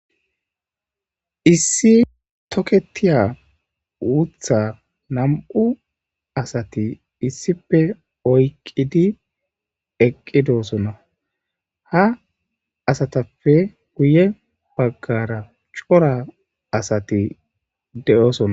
Issi toketiya wutha nam'u asati issife oyqqidi eqqidosona ha asatappe guye baggara cora asati de7oosonna.